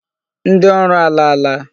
Ndị ọrụ alaala.